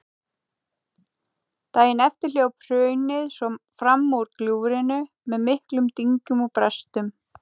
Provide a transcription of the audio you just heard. Daginn eftir hljóp hraunið svo fram úr gljúfrinu með miklum dynkjum og brestum.